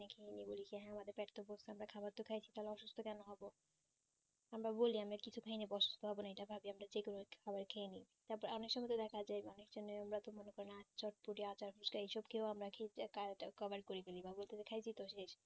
আমরা খাবো তো খাই সেটা আমরা অসুস্থ কোনো হবো আমরা কিছু খাইনি অসুস্থ হবো না এইটা ভাবি আমরা যেকোনো একটা খাবার খেয়ে নেই তারপর অনেক সময় দেখা যাই অনেক জনের আমরা তো মনে করেন চটপটি অদা ফুচকা এইসব কি হয় আমরা খাইছো তো